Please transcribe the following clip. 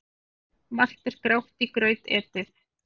Margt er grátt í graut etið.